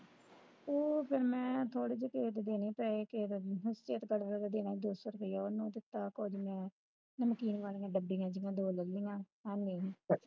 ਅਉ ਫਿਰ ਮੈਂ ਥੋੜੇ ਜਹੇ ਕਿਸੇ ਦੇ ਦੇਣੇ ਪੈਸੇ ਹੈ ਕੇਰਾ Photostate ਕਰਕੇ ਦੇਣਾ ਦੋ ਸੌ ਰੁਪਇਆ ਆਨੋ ਦਿੱਤਾ ਕੁਝ ਮੈਂ ਨਮਕੀਨ ਵਾਲੀਆਂ ਡੱਬੀਆ ਜਹੀਆਂ ਦੋ ਲੈ ਲਈਆਂ ਖਾਣੇ ਨੂੰ